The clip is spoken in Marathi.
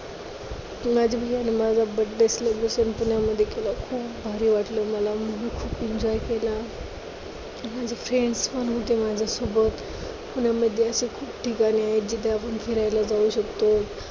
माझा Birthday celebration पुण्यामध्ये केला. खूप भारी वाटलं मला मी खूप enjoy केला, माझी friends पण होते माझ्यासोबत, पुण्यामध्ये अशी खूप ठिकाणे आहेत जिथे आपण फिरायला जाऊ शकतो.